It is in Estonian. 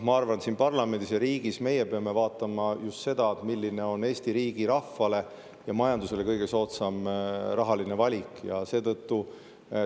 Ma arvan, et siin parlamendis ja riigis peame meie vaatama just seda, milline valik on Eesti rahvale ja majandusele rahaliselt kõige soodsam.